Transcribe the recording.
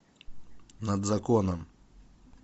над законом